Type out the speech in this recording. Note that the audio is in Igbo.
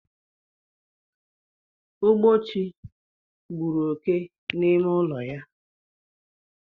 Ugbochi gburu oké n'ime ụlọ ya